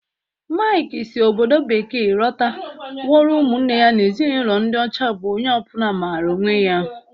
Mike si obodo bekee lota gwara umunne ya na Ezinụlọ ndi ocha bu onye obula maara onwe ya.